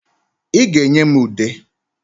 Ị ga-enye m ude.